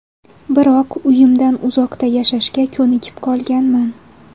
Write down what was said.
Biroq uyimdan uzoqda yashashga ko‘nikib qolganman.